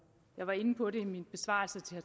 jeg var inde på det i min besvarelse til